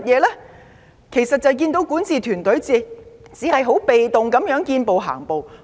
他們只看到管治團隊被動地見步行步。